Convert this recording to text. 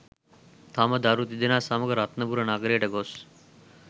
තම දරු තිදෙනා සමග රත්නපුර නගරයට ගොස්